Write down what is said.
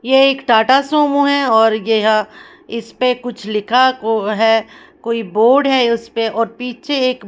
ये एक टाटा सोमो हैऔर यहां इस पे कुछ लिखा को है कोई बोर्ड हैउस पे और पीछे एक--